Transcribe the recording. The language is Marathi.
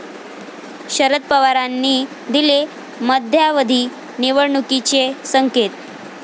शरद पवारांनी दिले मध्यावधी निवडणुकीचे संकेत